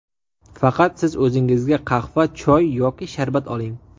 Faqat siz o‘zingizga qahva, choy yoki sharbat oling.